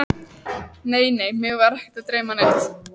Nei, nei, mig var ekki að dreyma neitt.